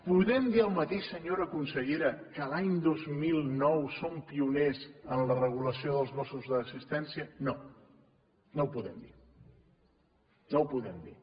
podem dir el mateix senyora consellera que l’any dos mil nou som pioners en la regulació dels gossos d’assistència no no ho podem dir no ho podem dir